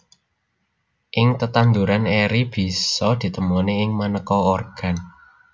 Ing tetanduran eri bisa ditemoni ing manéka organ